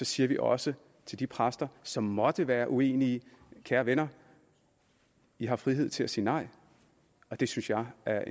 siger vi også til de præster som måtte være uenige kære venner i har frihed til at sige nej det synes jeg er